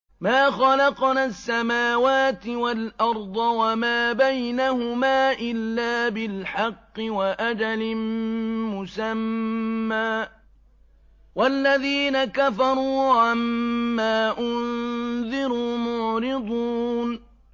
مَا خَلَقْنَا السَّمَاوَاتِ وَالْأَرْضَ وَمَا بَيْنَهُمَا إِلَّا بِالْحَقِّ وَأَجَلٍ مُّسَمًّى ۚ وَالَّذِينَ كَفَرُوا عَمَّا أُنذِرُوا مُعْرِضُونَ